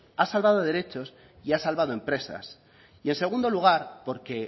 ha salvado derechos y ha salvado empresas y en segundo lugar porque